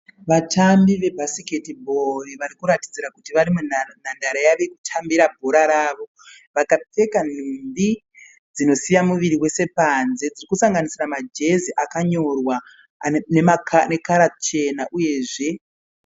Vatambi vabhasikeribho vari kuratidzira kuti vari munhandare yavo yekutambira bhora ravo. Vakapfeka nhumbi dzinosiya muviri wese panze. Dziri kusanganisira majezi akanorwa nekara chena uyezve.